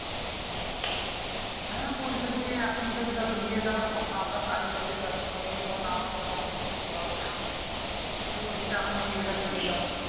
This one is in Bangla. হ্যা বলছে যে এখন থেকে তাহলে দিয়ে দাও তখন আবার কাজে টাজে ব্যাস্ত হয়ে গেলে তখন আবার কখন কি হবে তাই বলছে এখনই বিয়েটা দিয়ে দাও